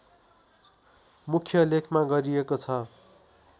मुख्य लेखमा गरिएको छ